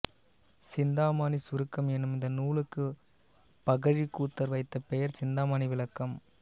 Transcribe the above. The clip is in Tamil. சிந்தாமணிச் சுருக்கம் என்னும் இந்த நூலுக்குப் பகழிக்கூத்தர் வைத்த பெயர் சிந்தாமணி விளக்கம்